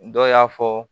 Dɔw y'a fɔ